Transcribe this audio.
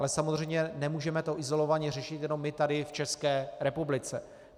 Ale samozřejmě nemůžeme to izolovaně řešit jenom my tady v České republice.